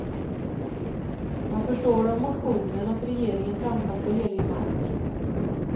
Man förstår av motionen att regeringen trampat på helig mark.